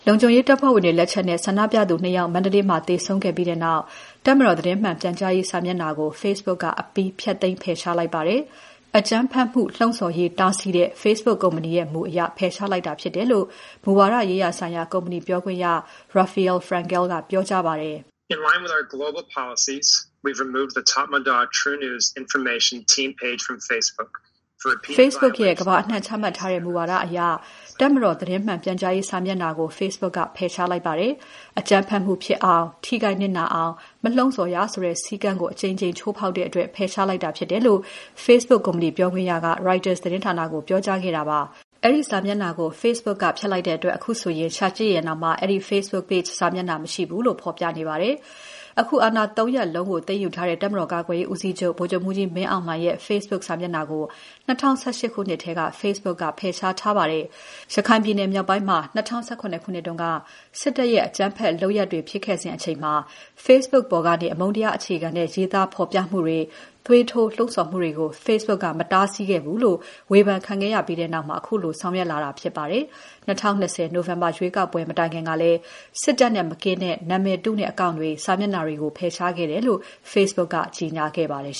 ုံခြုံရေးတပ်ဖွဲ့ဝင်တွေ လက်ချက်နဲ့ ဆန္ဒပြသူ နှစ် ဦး မန္တလေးမြို့မှာ သေဆုံးခဲ့ပြီးနောက် တပ်မတော်သတင်းမှန်ပြန်ကြားရေးစာမျက်နှာကို Facebook က အပြီးဖျက်သိမ်း ဖယ်ရှားလိုက်ပါတယ်။ အကြမ်းဖက်မှု လှုံ့ဆော်ရေး တားဆီးတဲ့ Facebook ကုမ္ပဏီ မူအရ ဖယ်ရှားလိုက်တာဖြစ်တယ်လို့ မူဝါဒရေးရာဆိုင်ရာ ကုမ္ပဏီပြောခွင့်ရ Rafael Frankel ကပြောကြားပါတယ်။ Facebook ရဲ့ ကမ္ဘာအနှံ့ ချမှတ်ထားတဲ့ မူဝါဒအရ တပ်မတော်သတင်းမှန်ပြန်ကြားရေး စာမျက်နှာကို Facebook က ဖယ်ရှားလိုက်ပါတယ်။ အကြမ်းဖက်မှုဖြစ်အောင် ထိခိုက်နစ်နာအောင် မလှုံ့ဆော်ရဆိုတဲ့ စည်းကမ်းကို အကြိမ်ကြိမ် ချိုးဖောက်တဲ့အတွက် ဖယ်ရှားလိုက်တာဖြစ်တယ်လို့ Facebook ကုမ္ပဏီပြောခွင့်ရက Reuters သတင်းဌာနကို ပြောကြားခဲ့ပါတယ်။ အဲဒီစာမျက်နှာကို Facebook က ဖျက်လိုက်တဲ့အတွက် အခုဆိုရင် ရှာကြည့်ရင်တောင် အဲဒီ Facebook page စာမျက်နှာ မရှိဘူးလို့သာ ဖော်ပြနေပါတယ်။ အခု အာဏာ သုံး ရပ်လုံးကို သိမ်းယူထားတဲ့ တပ်မတော်ကာကွယ်ရေးဦးစီးချုပ် ဗိုလ်ချုပ်မှူးကြီးမင်းအောင်လှိုင်ရဲ့ Facebook စာမျက်နှာကို ၂၀၁၈ ခုနှစ်ထဲက Facebook က ဖယ်ရှားခဲ့ပါတယ်။ ရခိုင်ပြည်နယ်မြောက်ပိုင်းမှာ ၂၀၁၇ ခုနှစ်တုန်းက စစ်တပ်ရဲ့ အကြမ်းဖက် လုပ်ရပ်တွေဖြစ်ခဲ့စဉ်အချိန်မှာ Facebook ပေါ်ကနေ အမုန်းတရားအခြေခံတဲ့ ရေးသားဖော်ပြမှုတွေ၊ သွေးထိုးလှုံ့ဆော်မှုတွေကို Facebook က မတားဆီးခဲ့ဘူးလို့ ဝေဖန်ခံရပြီးနောက်မှာ ခုလိုဆောင်ရွက်လာတာဖြစ်ပါတယ်။ ၂၀၂၀ နိုဝင်ဘာလရွေးကောက်ပွဲ မတိုင်ခင်ကလည်း စစ်တပ်နဲ့ မကင်းတဲ့ နာမည်တုနဲ့ အကောင့်တွေ၊ စာမျက်နှာတွေကို ဖယ်ရှားခဲ့တယ်လို့ Facebook ကကြေညာခဲ့ပါတယ်